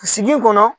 Sigi kɔnɔ